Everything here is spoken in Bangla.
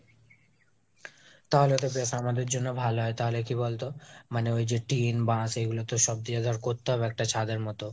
তাহলে তো বেশ আমাদের জন্য ভালো হয়, তাহলে কি বলতো? মানে ঐযে টিন, বাশ এগুলো তো সব দিয়ে একটা করতে হবে ছাদের মতো.